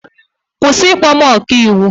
Kwụsị ịkpọ m ọkaiwu!